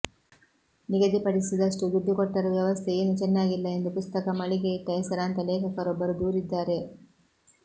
ನಿಗದಿಪಡಿಸಿದಷ್ಟು ದುಡ್ಡು ಕೊಟ್ಟರೂ ವ್ಯವಸ್ಥೆ ಏನೂ ಚೆನ್ನಾಗಿಲ್ಲ ಎಂದು ಪುಸ್ತಕ ಮಳಿಗೆಯಿಟ್ಟ ಹೆಸರಾಂತ ಲೇಖಕರೊಬ್ಬರು ದೂರಿದ್ದಾರೆ